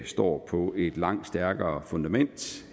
står på et langt stærkere fundament